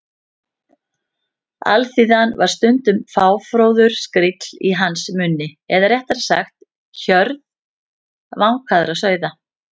Alþýðan var stundum fáfróður skríll í hans munni eða réttara sagt: hjörð vankaðra sauða.